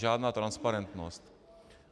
Žádná transparentnost.